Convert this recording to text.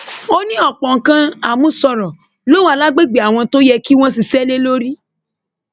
ó ní ọpọ nǹkan àmúṣọrọ ló wà lágbègbè àwọn tó yẹ kí wọn ṣiṣẹ lé lórí